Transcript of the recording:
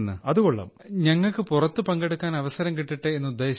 so that we get opportunity to participate outside